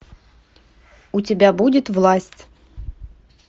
у тебя будет власть